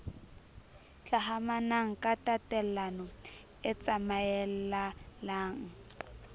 hlahamanang ka tatellano e tsamaellalang